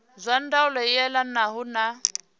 zwa ndaulo i elanaho na